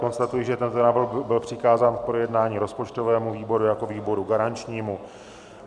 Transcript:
Konstatuji, že tento návrh byl přikázán k projednání rozpočtovému výboru jako výboru garančnímu.